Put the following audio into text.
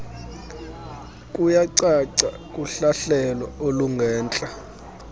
kuyacaca kuhlahlelo olungentla